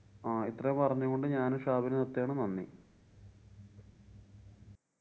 ഇത്രയും പറഞ്ഞുകൊണ്ട് ഞാനും ഷാബിനും നിര്‍ത്തുകയാണ് നന്ദി.